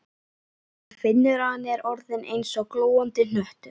Hann finnur að hann er orðinn eins og glóandi hnöttur.